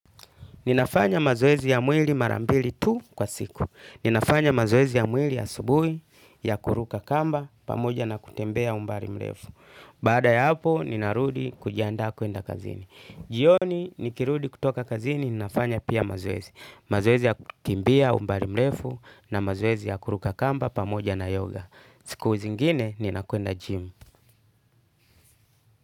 Ninafanya mazoezi ya mwili mara mbili tu kwa siku. Ninafanya mazoezi ya mwili ya asubuhi, ya kuruka kamba, pamoja na kutembea umbali mrefu. Baada ya hapo, ninarudi kujiandaa kuenda kazini. Jioni, nikirudi kutoka kazini, ninafanya pia mazoezi. Mazoezi ya kukimbia umbali mrefu, na mazoezi ya kuruka kamba, pamoja na yoga. Siku zingine, nina kwenda gym.